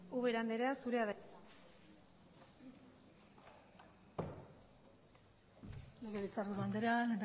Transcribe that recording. ubera andrea zurea da hitza legebiltzarburu andrea